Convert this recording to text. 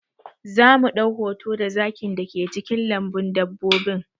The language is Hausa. Za mu ɗau hoto da zakin da ke cikin lambun dabbobin